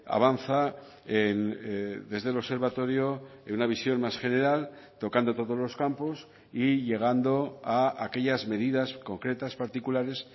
avanza desde el observatorio en una visión más general tocando todos los campos y llegando a aquellas medidas concretas particulares